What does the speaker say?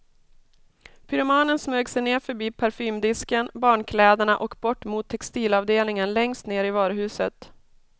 Pyromanen smög sig ner förbi parfymdisken, barnkläderna och bort mot textilavdelningen längst ner i varuhuset.